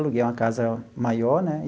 Aluguei uma casa maior, né?